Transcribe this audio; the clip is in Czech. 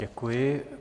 Děkuji.